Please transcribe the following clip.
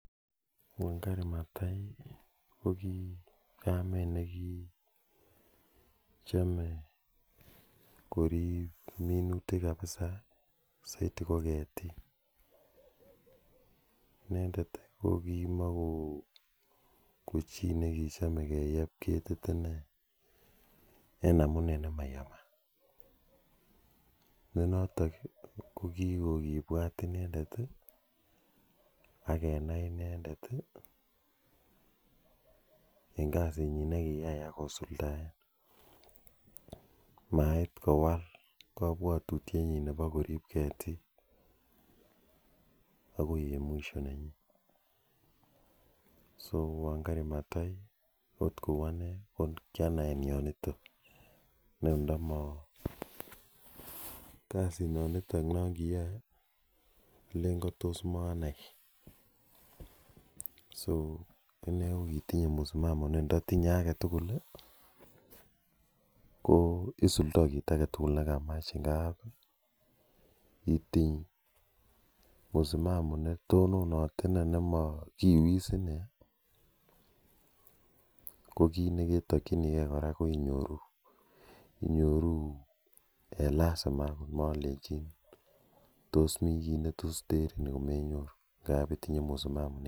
Wangari Mathai ko ki kamet ne ki chame korip minutik kapisa, saidi ko ketik. Inendet ko ki chi ne kimakochame keyep ketit ine, en amune ne mayamat ne notok ko kiko kipwat inendeti, ak kenai i endeti, eng' kasitnyi ne kiyai ak kosuldae . Mait kowal kapwatutienyin nepo korip ketik akoi en mwisho nenyin. So, Wangari Mathai akot en ane ko kianai en yuton. Ne ndama kasinanitok ne kiyae, alen tos maanai. So ine ko kitinye msimamamo ne ndatinye age tugul i, ko isudai kiit age tugul ne kamach. Ngap itinye msimamo ne tononat ine ne makiuit isine ko kiit ne ketakchini gei kora ko inyoruu. Inyoru en lasima agot malechin tos mi kii ne tos terin.